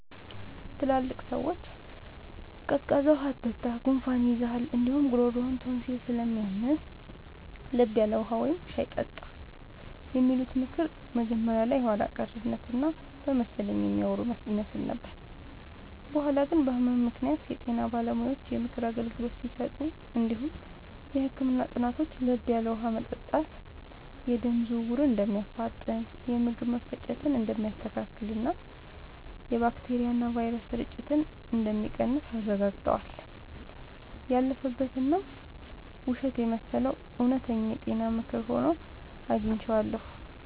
ትላልቅ ሰዎች “ቀዝቃዛ ውሃ አትጠጣ፣ ጉንፋን ይይዝሃል እንዲሁም ጉሮሮህን ቶንሲል ስለሚያምህ፤ ለብ ያለ ውሃ ወይም ሻይ ጠጣ” የሚሉት ምክር መጀመሪያ ላይ የኋላ ቀርነት እና በመሰለኝ የሚያወሩ ይመስል ነበር። በኋላ ግን በህመም ምክንያት የጤና ባለሙያዎች የምክር አገልግሎት ሲሰጡ እንዲሁም የህክምና ጥናቶች ለብ ያለ ውሃ መጠጣት የደም ዝውውርን እንደሚያፋጥን፣ የምግብ መፈጨትን እንደሚያስተካክልና የባክቴሪያና ቫይረስ ስርጭትን እንደሚቀንስ አረጋግጠዋል። ያለፈበት እና ውሸት የመሰለው እውነተኛ የጤና ምክር ሆኖ አግኝቼዋለሁ።